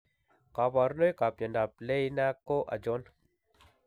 Kabrunoik ab myondab Leiner ko achon?